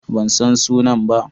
Ban san sunan ba.